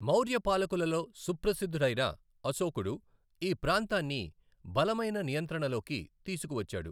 మౌర్య పాలకులలో సుప్రసిద్దుడైన అశోకుడు ఈ ప్రాంతాన్ని బలమైన నియంత్రణలోకి తీసుకువచ్చాడు.